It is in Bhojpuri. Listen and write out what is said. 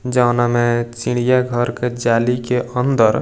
जोना में चिड़ियाॅ घर के जाली के अंदर --